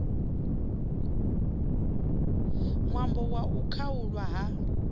ṅwambo wa u khaulwa ha